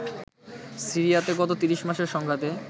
সিরিয়াতে গত ৩০ মাসের সংঘাতে